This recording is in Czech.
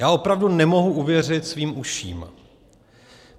Já opravdu nemohu uvěřit svým uším.